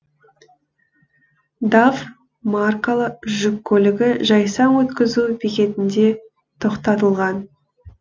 даф маркалы жүк көлігі жайсаң өткізу бекетінде тоқтатылған